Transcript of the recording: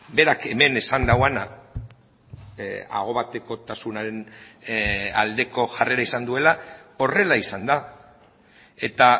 berak hemen esan duena aho batekotasunaren aldeko jarrera izan duela horrela izan da eta